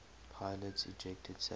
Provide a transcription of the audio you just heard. pilots ejected safely